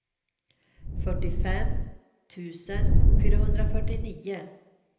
fyrtiofem tusen fyrahundrafyrtionio